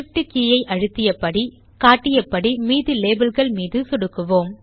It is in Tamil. Shift கே ஐ அழுத்தியபடி காட்டியபடி மீதி லேபல் கள் மீது சொடுக்குவோம்